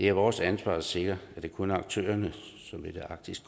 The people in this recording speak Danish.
er vores ansvar at sikre at det kun er aktører som vil arktis